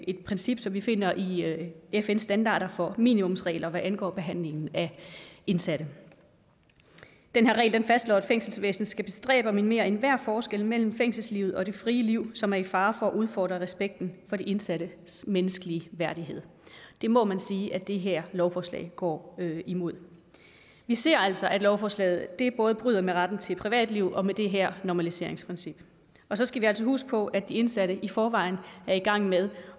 et princip som vi finder i fn standarder for minimumsregler hvad angår behandlingen af indsatte den her regel fastslår at fængselsvæsenet skal bestræbe at minimere enhver forskel mellem fængselslivet og det frie liv som er i fare for at udfordre respekten for de indsattes menneskelige værdighed det må man sige at det her lovforslag går imod vi ser altså at lovforslaget både bryder med retten til et privatliv og med det her normaliseringsprincip og så skal vi altså huske på at de indsatte i forvejen er i gang med